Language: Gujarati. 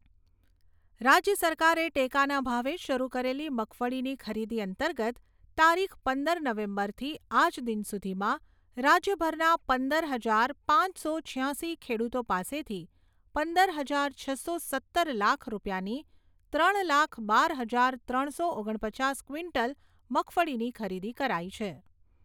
રાજ્ય સરકારે ટેકાના ભાવે શરુ કરેલી મગફળીની ખરીદી અંતર્ગત તારીખ પંદર નવેમ્બરથી આજ દિન સુધીમાં રાજ્યભરના પંદર હજાર પાંચસો છ્યાશી ખેડૂતો પાસેથી પંદર હાજર છસો સત્તર લાખ રૂપિયાની ત્રણ લાખ બાર હજાર ત્રણસો ઓગણ પચાસ ક્વિન્ટલ મગફળીની ખરીદી કરાઈ છે.